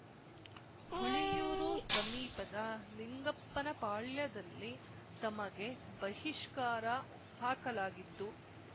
ಹುಳಿಯೂರು ಸಮೀಪದ ಲಿಂಗಪ್ಪನಪಾಳ್ಯದಲ್ಲಿ ತಮಗೆ ಬಹಿಷ್ಕಾರ ಹಾಕಲಾಗಿದ್ದು